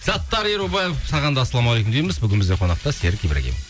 саттар ерубаев саған да ассалаумағалейкум дейміз бүгін бізде қонақта серік ибрагимов